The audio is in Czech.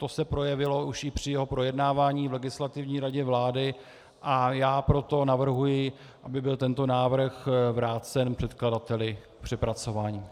To se projevilo už i při jeho projednávání v Legislativní radě vlády, a já proto navrhuji, aby byl tento návrh vrácen předkladateli k přepracování.